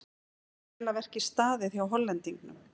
Vel að verki staðið hjá Hollendingnum.